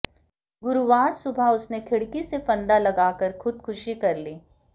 गुरुवार सुबह उसने खिडक़ी से फंदा लगाकर खुदकुशी कर ली